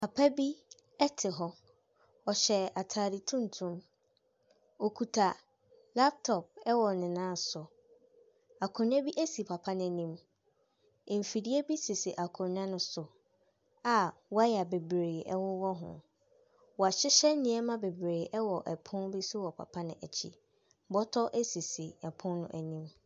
Papa bi te hɔ, ɔhyɛ ataade tuntum, okita laptop wɔ ne nan so. Akonnwa bi si papa n’anim, mfidie bi sisi akonnwa ne so a wire bebree wowɔ ho. Wɔahyehyɛ nneɛma bebree wɔ pon bi so wɔ papa n’akyi. Bɔtɔ sisi pono no anim.